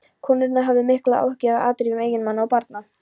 Konurnar höfðu miklar áhyggjur af afdrifum eiginmanna og barna.